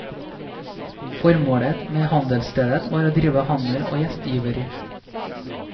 Formålet med handelsstedet var å drive handel og gjestgiveri.